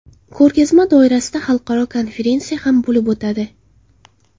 Ko‘rgazma doirasida xalqaro konferensiya ham bo‘lib o‘tadi.